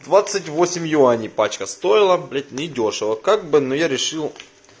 двадцать восемь юаней пачка стоила блять недёшево как бы но я решил